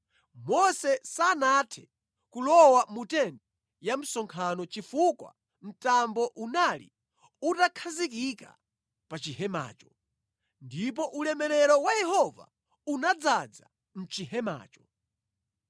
Mose sanathe kulowa mu tenti ya msonkhano chifukwa mtambo unali utakhazikika pa chihemacho, ndipo ulemerero wa Yehova unadzaza mʼchihemacho.